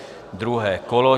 Druhé kolo.